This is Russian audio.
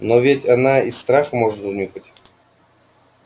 но ведь она и страх может унюхать